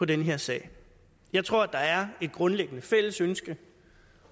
den her sag jeg tror at der er et grundlæggende fælles ønske